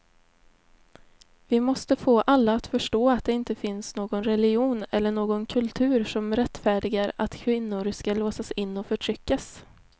Vi måste få alla att förstå att det inte finns någon religion eller någon kultur som rättfärdigar att kvinnor ska låsas in och förtryckas.